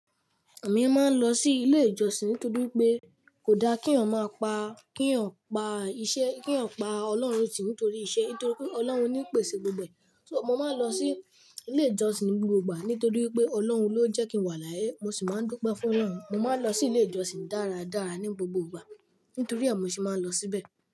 Èmi máa ń lọ sí ilé ìjọsìn nítorí pé kò da kí eeyan mọ pá, kí eeyan pa iṣẹ́, kí pa Ọlọ́run tì nítorí iṣẹ́. Nítorí pé Ọlọ́run ni pèsè gbogbo ẹ. So mo máa ń lọ sí ilé ìjọsìn ní gbogbo ìgbà. Nítorí pé Ọlọ́run ló jẹ́ kí n wà láyé. Mo sì máa ń dupe fún Ọlọ́run. Mo máa ń lọ sí ilé ìjọsìn dáradára ní gbogbo ìgbà. Nítorí ẹ mo ṣe máa ń lọ síbẹ̀.